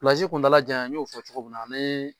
kuntala janya n y'o fɔ cogo min na ani